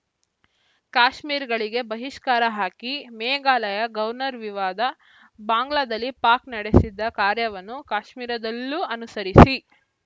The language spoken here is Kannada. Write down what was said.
ಕಾಶ್ಮೀರಿಗಳಿಗೆ ಬಹಿಷ್ಕಾರ ಹಾಕಿ ಮೇಘಾಲಯ ಗೌರ್ನರ್‌ ವಿವಾದ ಬಾಂಗ್ಲಾದಲ್ಲಿ ಪಾಕ್‌ ನಡೆಸಿದ ಕಾರ್ಯವನ್ನು ಕಾಶ್ಮೀರದಲ್ಲೂ ಅನುಸರಿಸಿ